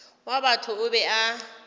wa batho o be a